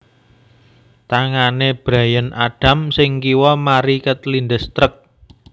Tangane Bryan Adams sing kiwa mari kelindes truk